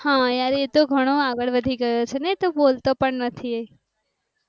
હા એ તો ઘણું આગળ વધી ગયું છે ને તો બોલ તો પણ નથી.